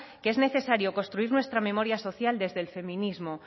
que es necesario construir nuestra memoria social desde el feminismo